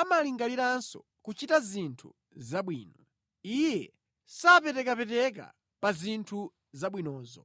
amalingaliranso kuchita zinthu zabwino, Iye amakhazikika pa zinthu zabwinozo.